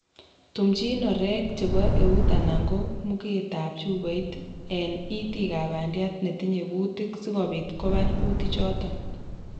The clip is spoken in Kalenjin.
tumjin orek chebo eut anan ko mugetab chupoit en itikab bandiat netinye kutik sikobiit kobar kutikchoto